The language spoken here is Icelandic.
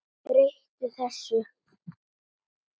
Breyti þessu.